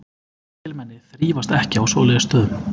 Mikilmenni þrífast ekki á svoleiðis stöðum.